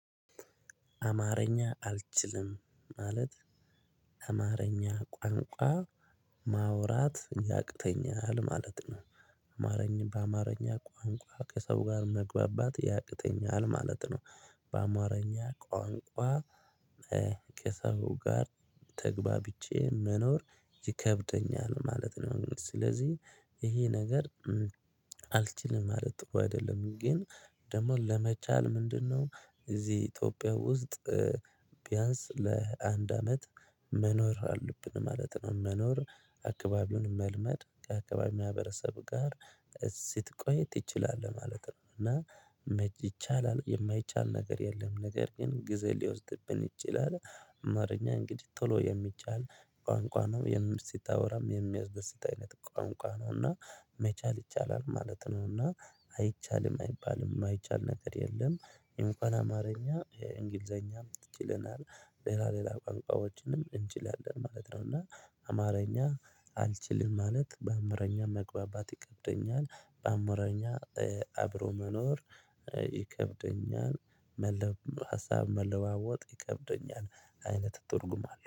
አማርኛ አልችልም ማለት አማርኛ ቋንቋ ማውራት ያቅተኛል ማለት ነው። አማርኛ በአማርኛ ቋንቋ ከሰው ጋር መግባባት ያቅተኛል ማለት ነው። በአማረኛ ቋንቋ ከሰው ጋር ተግባብቼ መኖር ይከብደኛል ማለት ነው። ስለዚህ ይሄ ነገር አልችልም ማለት እኮ አይደለም ግን ደግሞ ለመቻል ምንድነው? እዚህ ኢትዮጵያ ውስጥ ቢያንስ ለአንድ አመት መኖር አለብን ማለት ነው። መኖር አካባቢውን መልመድ ከአካባቢው ማህበረሰብ ጋር ስትቆይ ትችላለህ ማለት ነው። እና ይቻላል የማይቻል ነገር የለም ነገር ግን ግዜ ሊወስድብን ይችላል። አማርኛ እንግዲህ ቶሎ የሚቻል ቋንቋ ነው የምር ስታወራም የሚያስደስት አይነት ቋንቋ ነው። እና መቻል ይቻላል ማለት ነውና አይቻልም አይባልም የማይቻል ነገር የለም። እንኳን አማርኛ እንግሊዘኛ ችለናል ሌላ ሌላ ቋንቋዎችንም እንችላለን ማለት ነው። እና አማርኛ አልችልም ማለት በአማረኛ መግባባት ይከብደኛል በአማርኛ አብሮ መኖር ይከብደኛል። መለብ ሀሳብ መለዋወጥ ይከብደኛል አይነት ትርጉም አለው